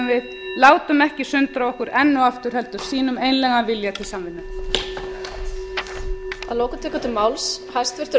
við látum ekki sundra okkur enn og aftur heldur sýnum einlægan vilja til samvinnu